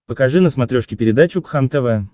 покажи на смотрешке передачу кхлм тв